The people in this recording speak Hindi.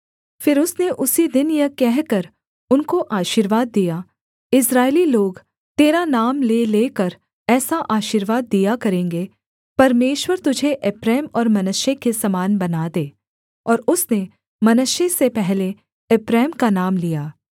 फिर उसने उसी दिन यह कहकर उनको आशीर्वाद दिया इस्राएली लोग तेरा नाम ले लेकर ऐसा आशीर्वाद दिया करेंगे परमेश्वर तुझे एप्रैम और मनश्शे के समान बना दे और उसने मनश्शे से पहले एप्रैम का नाम लिया